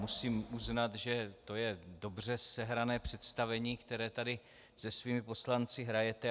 Musím uznat, že to je dobře sehrané představení, které tady se svými poslanci hrajete.